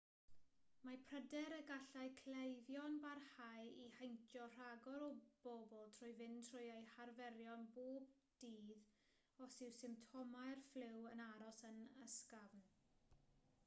mae pryder y gallai cleifion barhau i heintio rhagor o bobl trwy fynd trwy eu harferion pob dydd os yw symptomau'r ffliw yn aros yn ysgafn